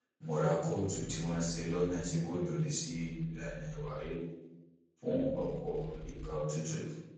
mo ra kóòtù tí wọn ṣe lọnà tí kò lòdì sí ìlànà ìwà híhù fún ọpọ ìgbà òtútù